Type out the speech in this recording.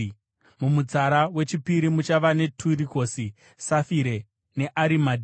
mumutsara wechipiri muchava neturikoisi, safire neemaradhi;